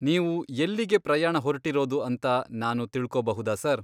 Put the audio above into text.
ನೀವು ಎಲ್ಲಿಗೆ ಪ್ರಯಾಣ ಹೊರ್ಟಿರೋದು ಅಂತ ನಾನು ತಿಳ್ಕೊಬಹುದಾ ಸರ್?